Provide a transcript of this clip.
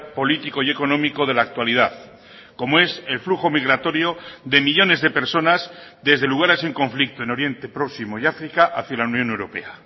político y económico de la actualidad como es el flujo migratorio de millónes de personas desde lugares en conflicto en oriente próximo y áfrica hacia la unión europea